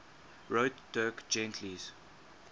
wrote dirk gently's